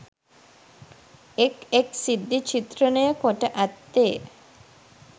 එක්, එක් සිද්ධි චිත්‍රණය කොට ඇත්තේ